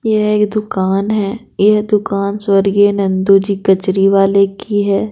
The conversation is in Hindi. यह एक दुकान है यह दुकान स्वर्गीय नंदू जी कचरी वाले की है।